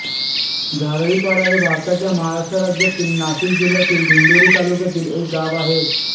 झारळीपाडा हे भारताच्या महाराष्ट्र राज्यातील नाशिक जिल्ह्यातील दिंडोरी तालुक्यातील एक गाव आहे